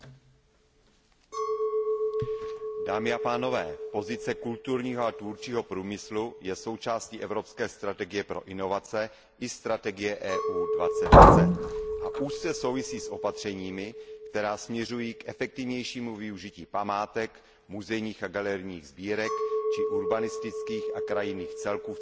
Pane předsedající, pozice kulturního a tvůrčího průmyslu je součástí evropské strategie pro inovace i strategie EU 2020 a úzce souvisí s opatřeními, která směřují k efektivnějšímu využití památek, muzejních a galerijních sbírek či urbanistických a krajinných celků v cestovním ruchu a v navazujících činnostech.